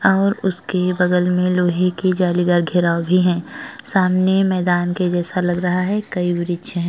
और उसके बगल में लोहे के जालीदार घेराव भी हैं। सामने मैंदान के जैसा लग रहा है। कई वृक्ष हैं।